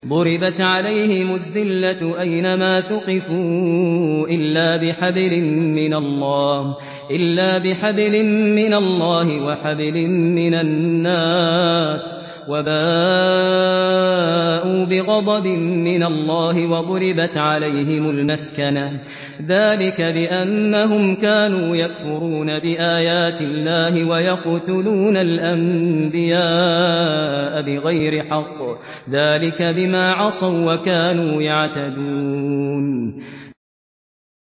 ضُرِبَتْ عَلَيْهِمُ الذِّلَّةُ أَيْنَ مَا ثُقِفُوا إِلَّا بِحَبْلٍ مِّنَ اللَّهِ وَحَبْلٍ مِّنَ النَّاسِ وَبَاءُوا بِغَضَبٍ مِّنَ اللَّهِ وَضُرِبَتْ عَلَيْهِمُ الْمَسْكَنَةُ ۚ ذَٰلِكَ بِأَنَّهُمْ كَانُوا يَكْفُرُونَ بِآيَاتِ اللَّهِ وَيَقْتُلُونَ الْأَنبِيَاءَ بِغَيْرِ حَقٍّ ۚ ذَٰلِكَ بِمَا عَصَوا وَّكَانُوا يَعْتَدُونَ